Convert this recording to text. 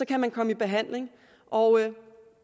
kan komme i behandling og